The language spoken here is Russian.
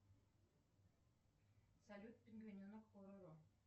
салют пингвиненок пороро